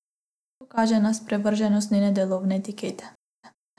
To kaže na sprevrženost njene delovne etike.